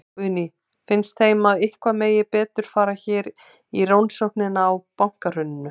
Guðný: Finnst þeim að eitthvað megi betur fara hér í rannsóknina á bankahruninu?